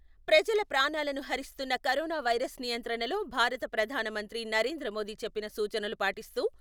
ప్రజల ప్రాణాలను హరిస్తున్న కరోనా వైరస్ నియంత్రణలో భారత ప్రధాన మంత్రి నరేంద్ర మోదీ చెప్పిన సూచనలు పాటిస్తూ...